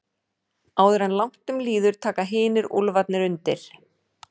Áður en langt um líður taka hinir úlfarnir undir.